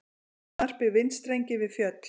Snarpir vindstrengir við fjöll